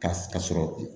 Ka ka sɔrɔ